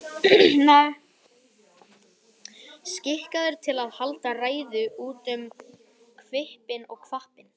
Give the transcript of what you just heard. Skikkaður til að halda ræður út um hvippinn og hvappinn.